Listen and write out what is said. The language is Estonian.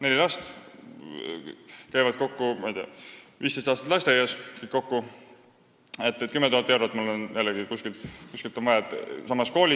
Neli last käivad kokku 15 aastat lasteaias ja mul on vaja kuskilt võtta 10 000 eurot.